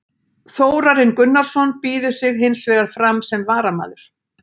Þórarinn Gunnarsson býður sig hins vegar fram sem varamaður.